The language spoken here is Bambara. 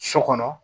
So kɔnɔ